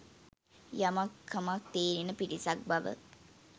යමක් කමක් තේරෙන පිරිසක්බව